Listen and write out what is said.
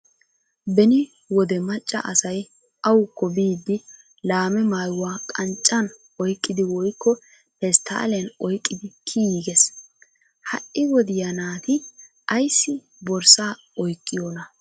Beni wode macca asay awukko biiddi laame maayuwa qanccan oyiqqidi woyikko pestaaliyan oyiqqidi kiyiiges. Ha'i wodiya naati ayissi borsaa oyiqqiyoonaa?